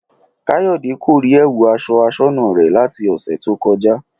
Káyọ̀dé kò rí ẹ̀wù aṣọ aṣọ́nà rẹ̀ láti ọ̀sẹ̀ tó kọjá